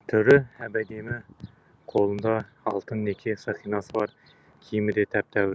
түрі әп әдемі қолында алтын неке сақинасы бар киімі де тәп тәуір